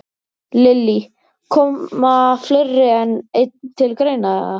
Lillý: Koma fleiri en einn til greina, eða?